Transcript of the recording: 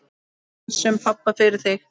Við pössum pabba fyrir þig.